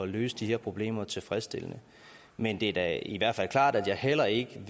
løse de her problemer tilfredsstillende men det er da i hvert fald klart at jeg heller ikke